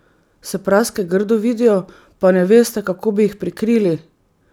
Se praske grdo vidijo, pa ne veste, kako bi jih prikrili?